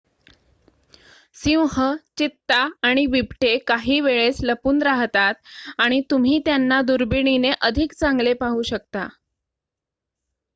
सिंह चित्ता आणि बिबटे काही वेळेस लपून राहतात आणि तुम्ही त्यांना दुर्बिणीने अधिक चांगले पाहू शकता